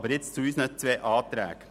Nun zu unseren zwei Anträgen: